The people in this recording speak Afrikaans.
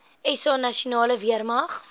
sa nasionale weermag